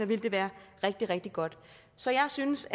ville det være rigtig rigtig godt så jeg synes